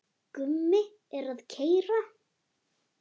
Gummi er að keyra.